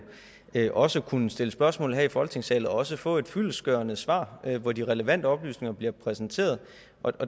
også kunne stille spørgsmål her i folketingssalen og også få et fyldestgørende svar hvor de relevante oplysninger bliver præsenteret